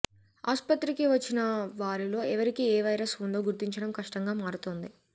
ఆస్పత్రికి వచ్చిన వారిలో ఎవరికీ ఏ వైరస్ ఉందో గుర్తించడం కష్టంగా మారుతోంది